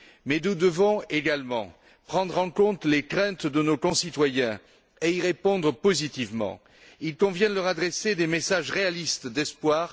Mais nous devons également prendre en compte les craintes de nos concitoyens et y répondre positivement. Il convient de leur adresser des messages réalistes d'espoir.